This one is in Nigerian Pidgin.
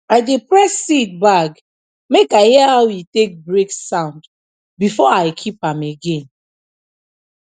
i dey press seed bag make i hear aw e take break sound before i keep am again